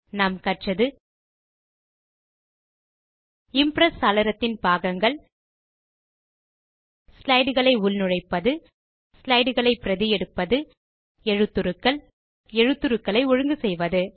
நாம் கற்றது இம்ப்ரெஸ் சாளரத்தின் பாகங்கள் ஸ்லைடு களை உள்நுழைப்பது ஸ்லைடு களை பிரதி எடுப்பது எழுத்துருக்கள் எழுத்துருக்களை ஒழுங்கு செய்வது